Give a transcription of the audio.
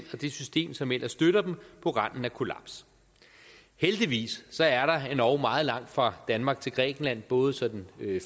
det system som ellers støtter dem på randen af kollaps heldigvis er der endog meget langt fra danmark til grækenland både